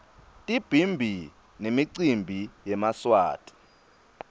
tibhimbi nemicimbi yemaswati